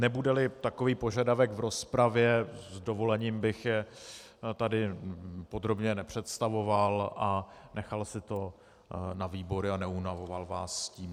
Nebude-li takový požadavek v rozpravě, s dovolením bych je tady podrobně nepředstavoval a nechal si to na výbory a neunavoval vás tím.